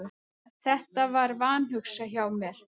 Þetta var vanhugsað hjá mér.